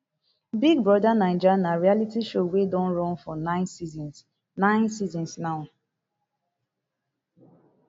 big brother naija na reality show wey don run for nine seasons nine seasons now